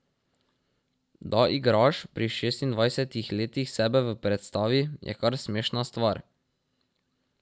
Da igraš pri šestindvajsetih letih sebe v predstavi, je kar smešna stvar.